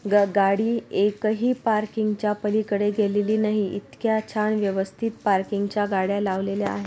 ग गाडी एकही पार्किंगच्या पलीकडे गेलेली नाही इतक्या छान व्यवस्थित पार्किंगच्या गाड्या लावलेल्या आहे.